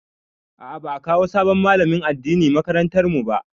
A'a, ba'a kawo sabon malamin addini makarantar mu ba.